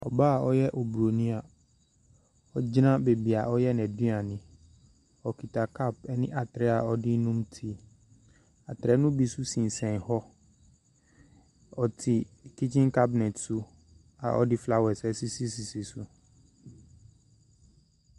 Ɔbaa ɔyɛ obroni a, ɔgyina baabia ɔreyɛ n'aduane. Ɔkuta cup ɛne atre a ɔdenom tea. Atre no bi nso sensen hɔ. Ɔte kitchen cabinet so a ɔde flowers ɛsisi sisi so.